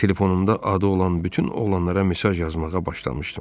Telefonumda adı olan bütün oğlanlara mesaj yazmağa başlamışdım.